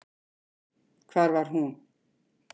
Hvar var hún?